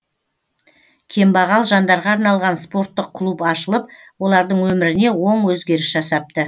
кембағал жандарға арналған спорттық клуб ашылып олардың өміріне оң өзгеріс жасапты